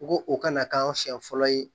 N ko o kana k'an siɲɛ fɔlɔ ye